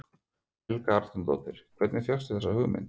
Helga Arnardóttir: Hvernig fékkstu þessa hugmynd?